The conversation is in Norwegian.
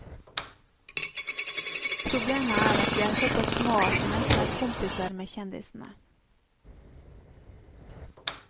Problemet er at vi er såpass små at vi nesten er kompiser med kjendisene.